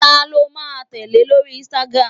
talo ma tẹle e lori Instagram